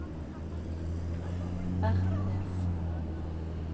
Bertnes